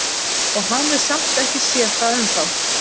Og hafði samt ekki séð það ennþá.